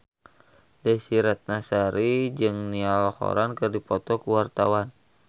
Desy Ratnasari jeung Niall Horran keur dipoto ku wartawan